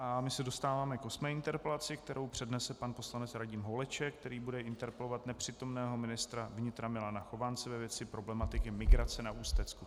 A my se dostáváme k osmé interpelaci, kterou přednese pan poslanec Radim Holeček, který bude interpelovat nepřítomného ministra vnitra Milana Chovance ve věci problematiky migrace na Ústecku.